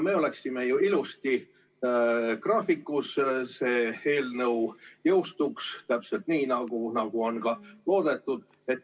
Me oleksime ju ilusti graafikus ja see eelnõu jõustuks täpselt nii, nagu on loodetud.